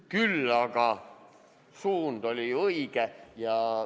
Küll aga oli suund ju õige.